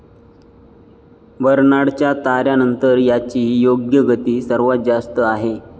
बर्नाडच्या ताऱ्यानंतर याची योग्य गती सर्वांत जास्त आहे.